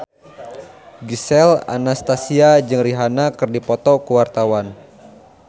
Gisel Anastasia jeung Rihanna keur dipoto ku wartawan